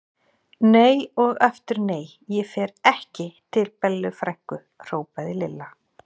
Nei og aftur nei, ég fer ekki til Bellu frænku! hrópaði Lilla.